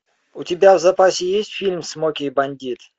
у тебя в запасе есть фильм смоки и бандит